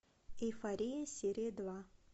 эйфория серия два